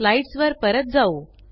slides वर परत जाऊ